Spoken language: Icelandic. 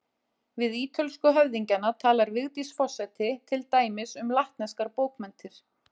Við ítölsku höfðingjana talar Vigdís forseti til dæmis um latneskar bókmenntir.